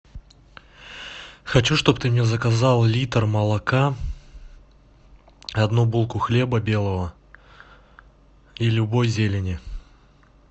хочу чтоб ты мне заказал литр молока одну булку хлеба белого и любой зелени